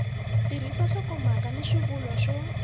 tirhisa nhlokomhaka na swivulwa swo